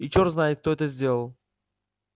и чёрт знает кто это сделал